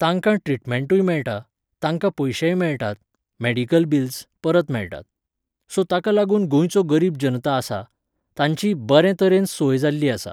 तांकां ट्रिटमेंटूय मेळटा, तांकां पयशेय मेळटात, मॅडिकल बिल्स, परत मेळटात. सो ताका लागून गोंयचो गरीब जनता आसा, तांची बरे तरेन सोय जाल्ली आसा.